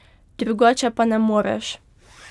Drugače pa ne moreš.